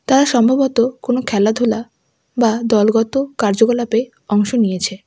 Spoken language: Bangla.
তারা সম্ভবত কোনও খেলাধুলা বা দলগত কার্যকলাপে অংশ নিয়েছে।